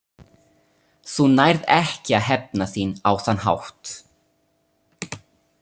Þú nærð ekki að hefna þín á þann hátt.